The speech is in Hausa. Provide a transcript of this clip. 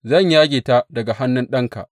Zan yage ta daga hannun ɗanka.